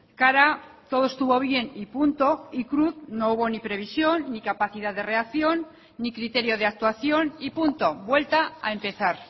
cara todo estuvo bien y punto y cruz no hubo ni previsión ni capacidad de reacción ni criterio de actuación y punto vuelta a empezar